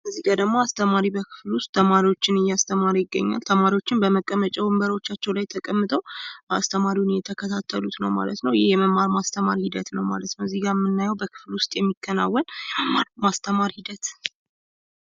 እዚጋ ደግሞ አስተማሪ በክፍሉ ውስጥ ተማሪዎችን እያስተማረ ይገኛል። ተማሪዎቹም በመቀመጫ ወንበሮቻቸው ላይ ተቀምጠው አስተማሪውን እየተከታተሉት ነው ማለት ነው። የመማር ማስተማር ሂደት ነው ማለት ነው። እዚጋ የምናየው በክፍል ውስጥ የሚከናወን የመማር ማስተማር ሂደት።